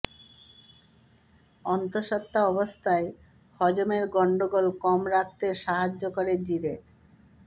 অন্তঃসত্ত্বা অবস্থায় হজমের গন্ডগোল কম রাখতে সাহায্য করে জিরে